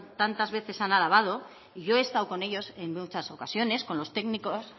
tantas veces han alabado y yo he estado con ellos en muchas ocasiones con los técnicos